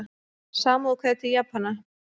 Samúðarkveðjur til Japana